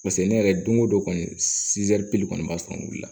pase ne yɛrɛ don o don kɔni kɔni b'a sɔrɔ wuli la